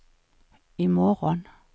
imorgon